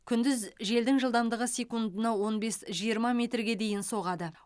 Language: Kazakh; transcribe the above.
күндіз желдің жылдамдығы секундына он бес жиырма метрге дейін соғады